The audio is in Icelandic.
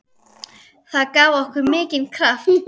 Það gaf okkur mikinn kraft.